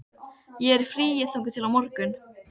Ég er í fríi þangað til á morgun.